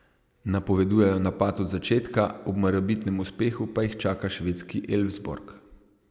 Napovedujejo napad od začetka, ob morebitnem uspehu pa jih čaka švedski Elfsborg.